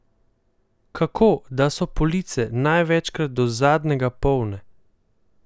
Kako, da so police največkrat do zadnjega polne?